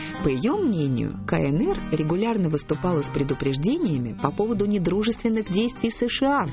по её мнению кнр регулярно выступало с предупреждениями по поводу недружественных действий сша